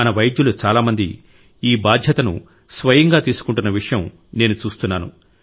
మన వైద్యులు చాలా మంది ఈ బాధ్యతను స్వయంగా తీసుకుంటున్న విషయం నేను చూస్తున్నాను